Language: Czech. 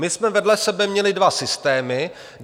My jsme vedle sebe měli dva systémy.